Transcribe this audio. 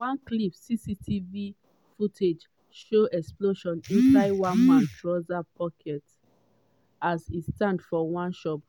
for one clip cctv footage show explosion inside one man trouser pocket as e stand for one shop.